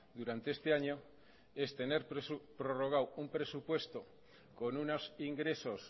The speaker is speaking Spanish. durante este año es tener prorrogado un presupuesto con unos ingresos